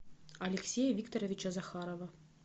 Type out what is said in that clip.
алексея викторовича захарова